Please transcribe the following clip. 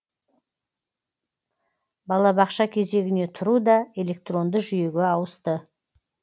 балабақша кезегіне тұру да электронды жүйеге ауысты